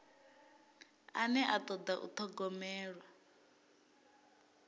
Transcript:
ane a toda u thogomelwa